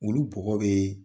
Olu bɔgɔ bɛ